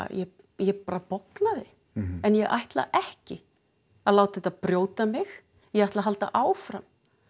ég bara bognaði en ég ætla ekki að láta þetta brjóta mig ég ætla halda áfram